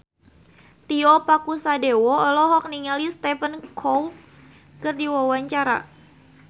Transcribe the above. Tio Pakusadewo olohok ningali Stephen Chow keur diwawancara